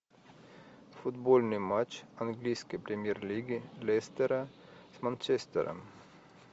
футбольный матч английской премьер лиги лестера с манчестером